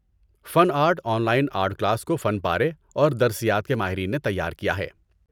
فن art online art class کو فن پارے اور درسیات کے ماہرین نے تیار کیا ہے۔